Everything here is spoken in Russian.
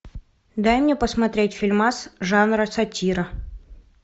дай мне посмотреть фильмас жанра сатира